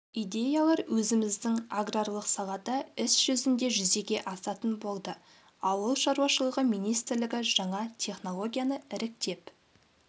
идеялар өзіміздің аграрлық салада іс жүзінде жүзеге асатын болды ауыл шаруашылығы министрлігі жаңа технологияны іріктеп